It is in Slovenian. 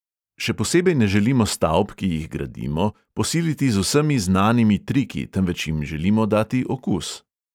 Še posebej ne želimo stavb, ki jih gradimo, posiliti s vsemi znanimi triki, temveč jim želimo dati okus.